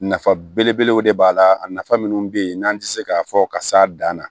Nafa belebelew de b'a la a nafa minnu be yen n'an tɛ se k'a fɔ ka s'a dan na